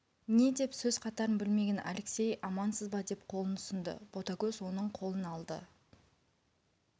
не деп сөз қатарын білмеген алексей амансыз ба деп қолын ұсынды ботагөз оның қолын алды